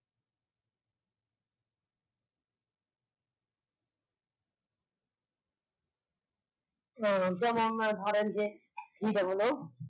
অহ যেমন ধরেন যে ই বলে